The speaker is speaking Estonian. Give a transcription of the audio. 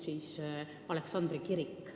Narvas on ju ka Aleksandri kirik.